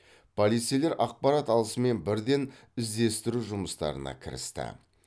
полицейлер ақпарат алысымен бірден іздестіру жұмыстарына кірісті